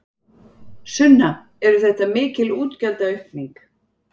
Sunna: Er þetta mikil útgjaldaaukning?